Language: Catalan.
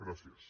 gràcies